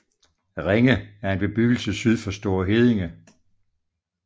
Renge er en bebyggelse syd for Store Heddinge